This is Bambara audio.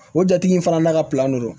O jatigi in fana n'a ka don